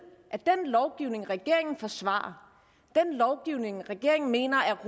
at den lovgivning regeringen forsvarer den lovgivning regeringen mener er